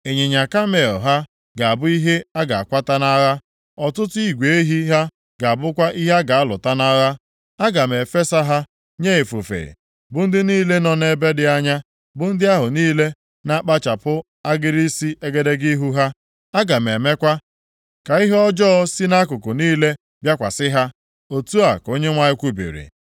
Ịnyịnya kamel ha ga-abụ ihe a ga-akwata nʼagha, ọtụtụ igwe ehi ha ga-abụkwa ihe a ga-alụta nʼagha. Aga m efesa ha nye ifufe, bụ ndị niile nọ ebe dị anya, bụ ndị ahụ niile na-akpụchapụ agịrị isi egedege ihu ha. Aga m emekwa ka ihe ọjọọ si nʼakụkụ niile bịakwasị ha,” otu a ka Onyenwe anyị kwubiri.